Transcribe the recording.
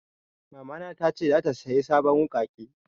Mama na ta ce zata saya sabon wuƙaƙe